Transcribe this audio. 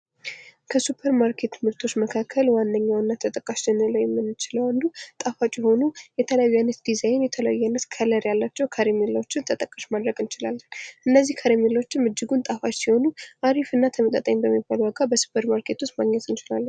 ከሱፐርማርኬት ምርቶች መካከል ዋነኛውና ተጠቃሽ ልንለው የምንችለው አንዱ ጣፋጭ የሆኑ የተለያዩ አይነት ዲዛይን፣ የተለያዩ አይነት ቀለም ያላቸው ከረሜላዎችን ተጠቃሽ ማድረግ እንችላለን። እነዚህ ከረሜላዎችም እጅጉን ጣፉጭ ሲሆኑ አሪፍ እና ተመጣጣኝ በሚባለው ዋጋ በ ሱፐርማርኬት ውስጥ ማግኘት እንችላለን።